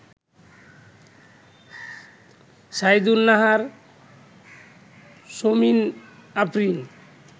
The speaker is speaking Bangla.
সাইয়েদুন নাহার, সৌমিন আফরিন